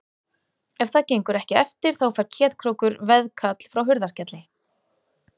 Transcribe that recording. Ef það gengur ekki eftir þá fær Ketkrókur veðkall frá Hurðaskelli.